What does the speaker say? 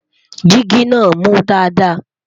jìgì nà mú Dàda